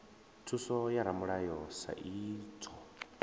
thuso ya ramulayo sa idzwo